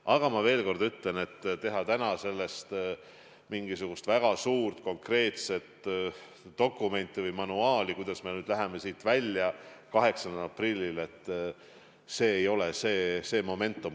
Aga ma veel kord ütlen, et teha täna, 8. aprillil mingisugune väga suur konkreetne dokument, kuidas me kriisist välja läheme – see ei ole õige moment.